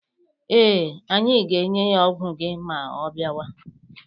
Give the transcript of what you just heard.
Ee, anyị ga-enye ya ọgwụ gị ma ọ biawa.